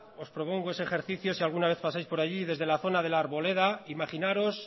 os propongo ese ejercicio si alguna vez pasáis por allí desde la ona de la arboleda imaginaros